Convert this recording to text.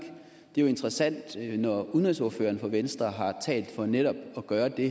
jo interessant når udenrigsordføreren for venstre har talt for netop at gøre det